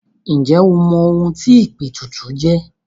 Ǹjẹ́ o mọ ohun tí ìpètùtù jẹ́?